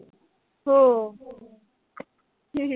हो